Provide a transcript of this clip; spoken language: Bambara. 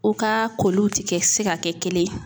U ka koliw ti kɛ se ka kɛ kelen